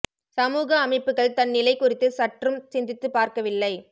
சமூக அமைப்புகள் தன் நிலை குறித்து சற்றும் சிந்தித்து பார்க்க வில்லை